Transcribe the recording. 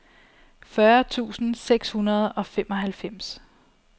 fyrre tusind seks hundrede og femoghalvfems